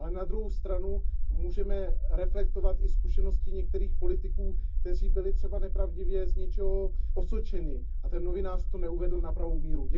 Ale na druhou stranu můžeme reflektovat i zkušenosti některých politiků, kteří byli třeba nepravdivě z něčeho osočeni, a ten novinář to neuvedl na pravou míru.